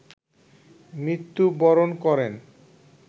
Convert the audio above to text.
মৃত্যু বরণ করেন